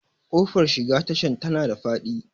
Ƙofar shiga tashan tana da faɗi